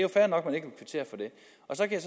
så kan